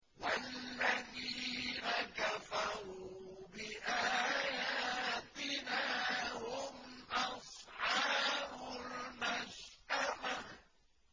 وَالَّذِينَ كَفَرُوا بِآيَاتِنَا هُمْ أَصْحَابُ الْمَشْأَمَةِ